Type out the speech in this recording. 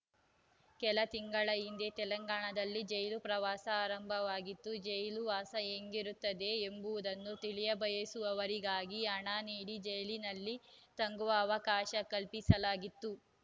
ಕೆಲ ತಿಂಗಳ ಹಿಂದೆ ತೆಲಂಗಾಣದಲ್ಲಿ ಜೈಲು ಪ್ರವಾಸ ಆರಂಭವಾಗಿತ್ತು ಜೈಲುವಾಸ ಹೇಗಿರುತ್ತದೆ ಎಂಬುದನ್ನು ತಿಳಿಯಬಯಸುವವರಿಗಾಗಿ ಹಣ ನೀಡಿ ಜೈಲಿನಲ್ಲಿ ತಂಗುವ ಅವಕಾಶ ಕಲ್ಪಿಸಲಾಗಿತ್ತು